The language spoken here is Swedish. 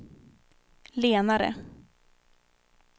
lenare